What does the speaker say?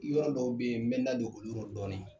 Yɔrɔ dɔw be yen n bɛ n da don oruyɔ dɔɔni